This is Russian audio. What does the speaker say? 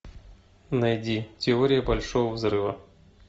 найди теория большого взрыва